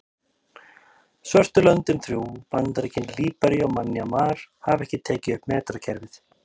Svörtu löndin þrjú, Bandaríkin, Líbería og Mjanmar hafa ekki tekið upp metrakerfið.